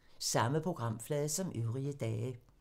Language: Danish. Samme programflade som øvrige dage